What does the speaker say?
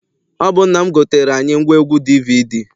Ọ bụ nna m goteere anyị ngwaegwu DVD.